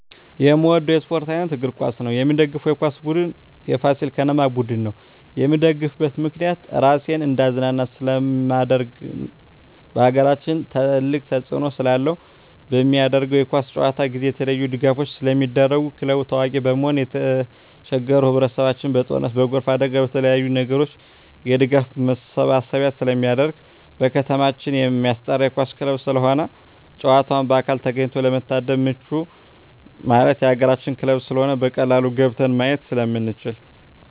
የምወደው የስፓርት አይነት እግር ኳስ ነው። የምደግፈው የኳስ ቡድን የፋሲል ከነማ ቡድን ነው። የምደግፍበት ምክንያት ራሴን እንዳዝናና ስለማደርግ በአገራችን ትልቅ ተፅዕኖ ስላለው። በሚደረገው የኳስ ጨዋታ ጊዜ የተለያዪ ድጋፎች ስለሚደረጉ ክለቡ ታዋቂ በመሆኑ የተቸገሩ ህብረቸሰብ በጦርነት በጎርፍ አደጋ በተለያዪ ነገሮች የድጋፍ ማሰባሰቢያ ስለሚደረግ። በከተማችን የማስጠራ የኳስ ክለብ ስለሆነ ጨዋታውን በአካል ተገኝቶ ለመታደም ምቹ ማለት የአገራችን ክለብ ስለሆነ በቀላሉ ገብተን ማየት ስለምንችል።